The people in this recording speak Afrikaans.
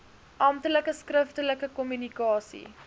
amptelike skriftelike kommunikasie